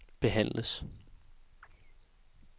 behandles